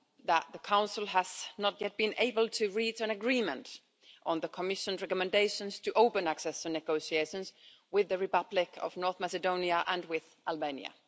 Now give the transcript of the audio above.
that the Council has not yet been able to reach an agreement on the Commission's recommendations to open accession negotiations with the Republic of North Macedonia and with Albania.